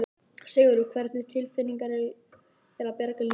Sigurður: Hvernig tilfinning er að bjarga lífi?